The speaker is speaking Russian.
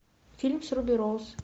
фильм с руби роуз